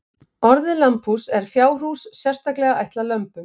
Orðið lambhús er fjárhús sérstaklega ætlað lömbum.